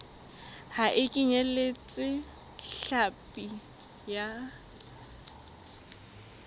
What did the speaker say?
ha e kenyeletse hlapi ya